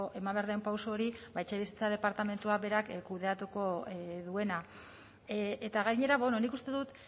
eman behar den pauso hori ba etxebizitza departamentuak berak kudeatuko duena eta gainera nik uste dut